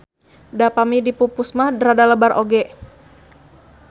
Da pami dipupus mah rada lebar oge.